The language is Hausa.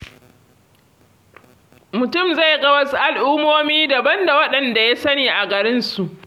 Mutum zai ga wasu al'ummomi daban da waɗanda ya sani a garinsa.